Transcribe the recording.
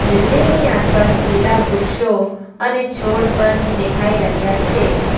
Building ની આસપાસ લીલા વૃક્ષો અને છોડ પન દેખાઈ રહ્યા છે.